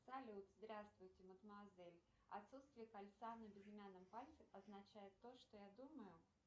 салют здравствуйте мадмуазель отсутствие кольца на безымянном пальце означает то что я думаю